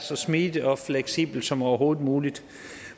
så smidigt og fleksibelt som overhovedet muligt